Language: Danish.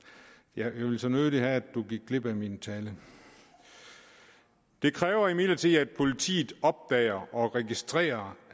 jeg ville så nødig have at du gik glip af min tale det kræver imidlertid at politiet opdager og registrerer